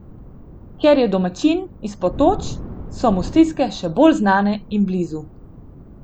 Ker je domačin, iz Potoč, so mu stiske še bolj znane in blizu.